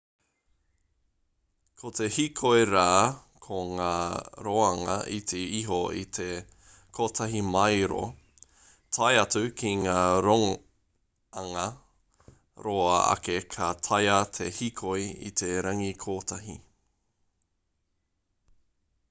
ko te hīkoi rā ko ngā roanga iti iho i te te kotahi māero tae atu ki ngā roanga roa ake ka taea te hīkoi i te rangi kotahi